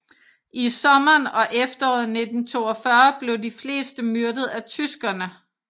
I sommeren og efteråret 1942 blev de fleste myrdet af tyskerne